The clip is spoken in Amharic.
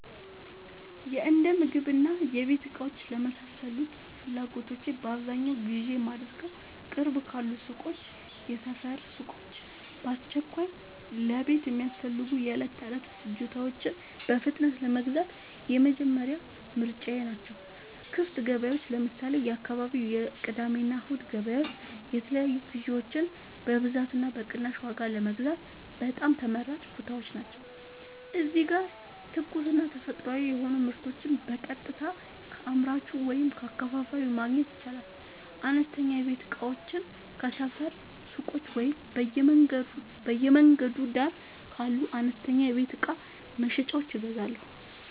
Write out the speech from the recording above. የእንደምግብና የቤት እቃዎች ለመሳሰሉት ፍላጎቶቼ በአብዛኛው ግዢ የማደርገዉ፦ ቅርብ ካሉ ሱቆች (የሰፈር ሱቆች)፦ በአስቸኳይ ለቤት የሚያስፈልጉ የዕለት ተዕለት ፍጆታዎችን በፍጥነት ለመግዛት የመጀመሪያ ምርጫየ ናቸው። ክፍት ገበያዎች (ለምሳሌ፦ የአካባቢው የቅዳሜና እሁድ ገበያዎች) የተለያዩ ግዥዎችን በብዛትና በቅናሽ ዋጋ ለመግዛት በጣም ተመራጭ ቦታዎች ናቸው። እዚህ ጋር ትኩስና ተፈጥሯዊ የሆኑ ምርቶችን በቀጥታ ከአምራቹ ወይም ከአከፋፋዩ ማግኘት ይቻላል። አነስተኛ የቤት እቃዎችን ከሰፈር ሱቆች ወይም በየመንገዱ ዳር ካሉ አነስተኛ የቤት እቃ መሸጫዎች እገዛለሁ።